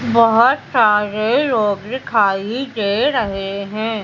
बहोत सारे लोग दिखाई दे रहे हैं।